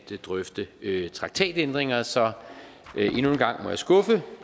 drøfte traktatændringer så endnu en gang må jeg skuffe